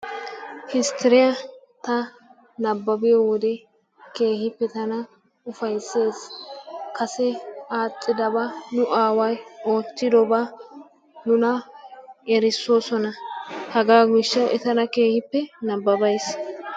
Histiriya ta nababiyo wode keehippe tana ufaysees, kase aadhidaba nu aaway ootidoba nuna erisoosona. hegaa gishawu I tana keehippe nabbaba giis.